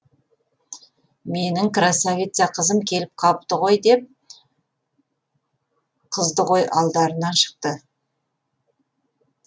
менің красавица қызым келіп қалыпты ғой деп қыздығой алдарынан шықты